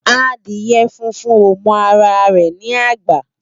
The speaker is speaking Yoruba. Adiè fúnfún ó mò àrá rè ni ágbà